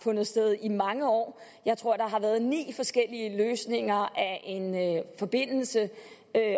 fundet sted i mange år jeg tror at der har været ni forskellige løsninger af en forbindelse